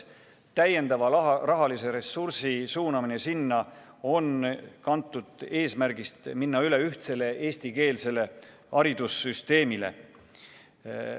Täiendava rahalise ressursi suunamine sinna on kantud eesmärgist minna üle ühtsele eestikeelsele haridusele.